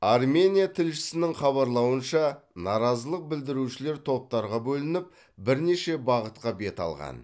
армения тілшісінің хабарлауынша наразылық білдірушілер топтарға бөлініп бірнеше бағытқа бет алған